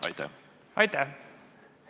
Aitäh!